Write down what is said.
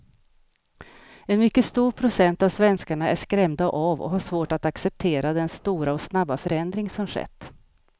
En mycket stor procent av svenskarna är skrämda av och har svårt att acceptera den stora och snabba förändring som skett.